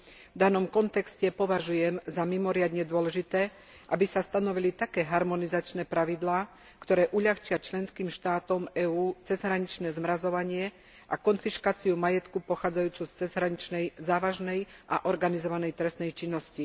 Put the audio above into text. V danom kontexte považujem za mimoriadne dôležité, aby sa stanovili také harmonizačné pravidlá, ktoré uľahčia členským štátom EÚ cezhraničné zmrazovanie a konfiškáciu majetku pochádzajúceho z cezhraničnej závažnej a organizovanej trestnej činnosti.